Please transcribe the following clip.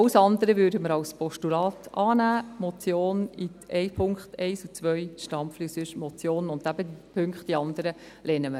Alles andere würden wir als Postulat annehmen, die Motion Stampfli in Punkt 1 und 2, und sonst die Motion, und die anderen Punkte lehnen wir eben ab.